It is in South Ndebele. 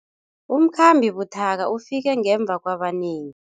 Umkhambi buthaka ufike ngemva kwabanengi.